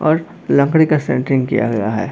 और लकड़ी का सेंट्ररिंग किया गया है।